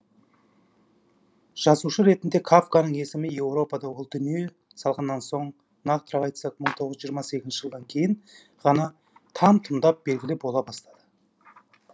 жазушы ретінде кафканың есімі еуропада ол дүние салғаннан соң нақтырақ айтсақ мың тоғыз жүз жиырма сегізінші жылдан кейін ғана там тұмдап белгілі бола бастады